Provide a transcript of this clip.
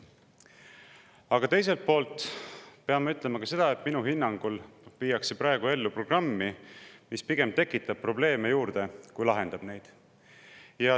Aga teiselt poolt pean ma ütlema ka seda, et minu hinnangul viiakse praegu ellu programmi, mis pigem tekitab probleeme juurde, kui lahendab neid.